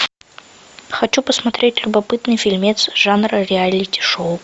хочу посмотреть любопытный фильмец жанра реалити шоу